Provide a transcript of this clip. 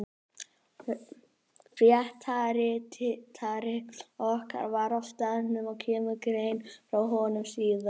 Fréttaritari okkar var á staðnum og kemur grein frá honum síðar.